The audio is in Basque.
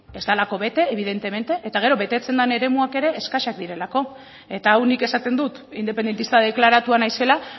ez delako bete evidentemente eta gero betetzen diren eremuak ere eskasak direlako eta hau nik esaten dut independentista deklaratua naizela